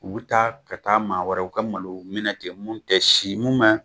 U bi taa ka taa ma wɛrɛw ka malow minɛ ten mun te si mun ma